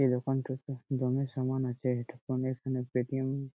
এ দোকান থেকে জিনিস সামান আছে এই দোকানের এখানে পেটিএম --